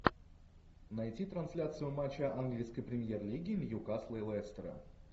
найти трансляцию матча английской премьер лиги ньюкасла и лестера